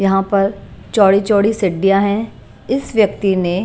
यहां पर चौड़ी-चौड़ी सिड्डियां हैं इस व्यक्ति ने।